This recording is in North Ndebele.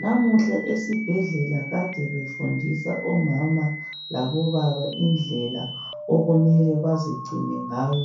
Namuhla esibhedlela kade befundisa omama labobaba indlela okumele bazigcine ngayo